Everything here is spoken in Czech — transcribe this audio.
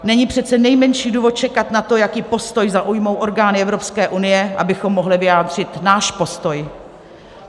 Není přece nejmenší důvod čekat na to, jaký postoj zaujmou orgány Evropské unie, abychom mohli vyjádřit náš postoj.